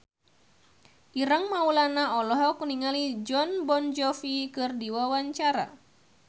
Ireng Maulana olohok ningali Jon Bon Jovi keur diwawancara